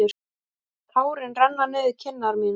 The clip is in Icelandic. Tárin renna niður kinnar mínar.